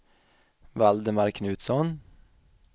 Valdemar Knutsson